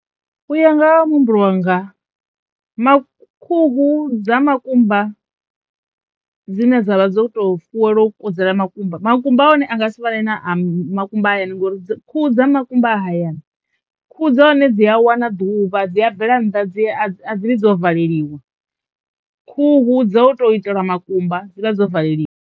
U ya nga ha muhumbulo wanga mak khuhu dza makumba dzine dza vha dzo to fuwelwa u kudzela makumba makumba a hone a nga si fane na a makumba hayani ngori khuhu dza makumba a hayani khuhu dza hone dzi a wana ḓuvha dzi a bvela nnḓa dzi a dzi vhi dzo vuleliwa, khuhu dzo tou itelwa makumba dzi vha dzo valeliwa.